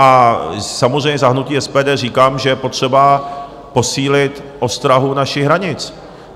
A samozřejmě za hnutí SPD říkám, že je potřeba posílit ostrahu našich hranic.